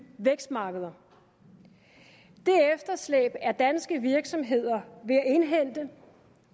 vækstmarkeder det efterslæb er danske virksomheder ved at indhente